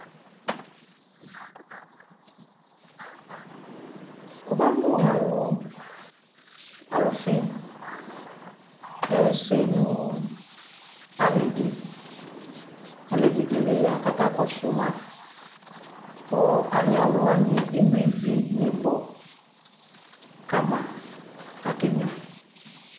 Wuka mu alu, ɔlufi ɛyɛsɛ nu ali di Alɛvi di ya kaka kɔsu maKu ali aluwani ɛnui vi ni bɔ ka ma kakɛ nyua